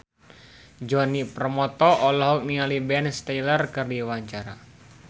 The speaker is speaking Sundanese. Djoni Permato olohok ningali Ben Stiller keur diwawancara